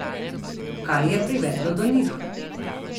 Kaj je privedlo do njih?